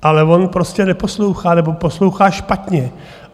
Ale on prostě neposlouchá nebo poslouchá špatně.